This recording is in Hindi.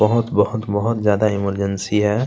बहोत- बहोत -बहोत ज्यादा इमरजेंसी है।